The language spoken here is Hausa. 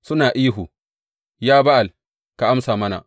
Suna ihu, Ya Ba’al, ka amsa mana!